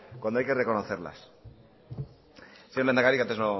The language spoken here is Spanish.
cuando hay que reconocerlas señor lehendakari que antes